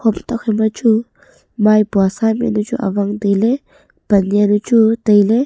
hom thokphai ma chu maipua sa mihnu amchu awang tailey pan jaunu chu tailey.